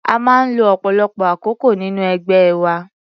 A máa ń lo ọ̀pọ̀lọpọ̀ àkókol nínú ẹgbẹ́ wa.